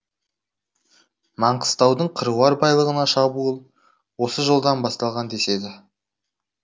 маңғыстаудың қыруар байлығына шабуыл осы жолдан басталған деседі